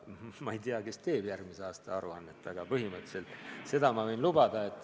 Ma ei tea, kes teeb järgmise aasta aruannet, aga põhimõtteliselt seda ma võin lubada.